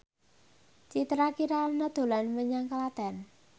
Citra Kirana dolan menyang Klaten